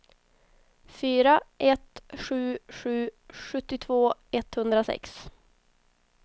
fyra ett sju sju sjuttiotvå etthundrasex